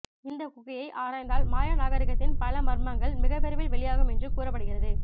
இந்த குகையை ஆராய்ந்தால் மாயா நாகரித்தின் பல மர்மங்கள் மிக விரைவில் வெளியாகும் என்று கூறப்படுகிறது